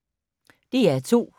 DR P2